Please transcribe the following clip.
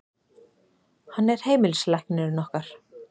Hann er heimilislæknirinn okkar.